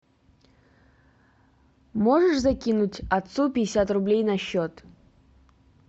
можешь закинуть отцу пятьдесят рублей на счет